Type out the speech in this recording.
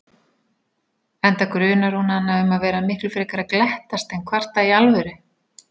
Enda grunar hún hana um að vera miklu frekar að glettast en kvarta í alvöru.